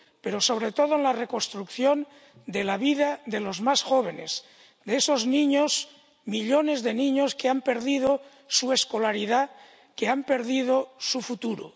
Pero sobre todo en la reconstrucción de la vida de los más jóvenes, de esos niños, millones de niños, que han perdido su escolaridad, que han perdido su futuro.